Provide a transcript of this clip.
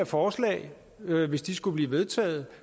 forslag hvis de skulle blive vedtaget